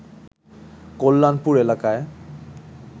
কল্যাণপুর এলাকায়